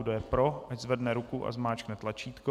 Kdo je pro, ať zvedne ruku a zmáčkne tlačítko.